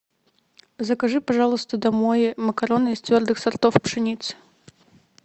закажи пожалуйста домой макароны из твердых сортов пшеницы